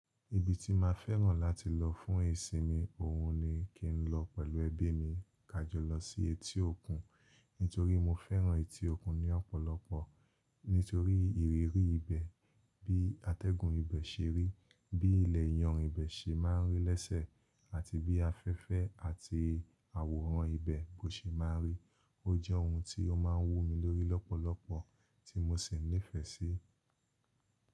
Ibi tí máa fẹ́ràn láti lọ fún ìsinmi, ohun ni kí n lọ pẹ̀lú ẹbí mi, kájọ lọ sí etí òkun. Nítorí mo fẹ́ràn etí òkun ní ọ̀pọ̀lọpọ̀. Nítorí ìrírí ibẹ̀, bí atẹ́gùn ibẹ̀ se rí, bí ilẹ̀ ìyànrìn ibẹ̀ se máa n rí lésẹ̀ àti bí afẹ́fẹ́ àti àwòrán ibẹ̀ bó se máa n rí. Ó jẹ́ ohun tí ó máa n wú mi lórí lọ́pọ̀lọpọ̀ tí mo sì nífẹ̀ẹ́ síi.